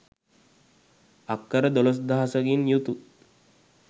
අක්කර දොළොස්දහසකින් යුතු